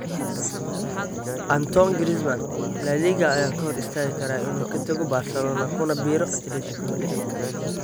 Antoine Griezmann: La Liga ayaa ka hor istaagi kara in uu ka tago Barcelona kuna biiro Atletico Madrid